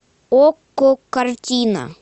окко картина